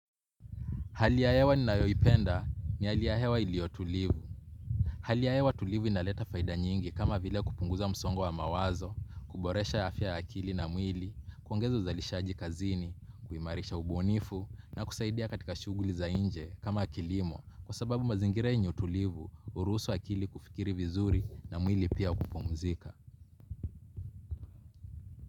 Hali ya hewa ninayoipenda ni hali ya hewa ilio tulivu. Hali ya hewa tulivu inaleta faida nyingi kama vile kupunguza msongo wa mawazo, kuboresha afya ya akili na mwili, kuongeza uzalishaji kazini, kuimarisha ubunifu, na kusaidia katika shuguli za inje kama kilimo kwa sababu mazingira yenye utulivu, uruhusu akili kufikiri vizuri na mwili pia kupumzika.